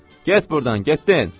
Get burdan, getdin!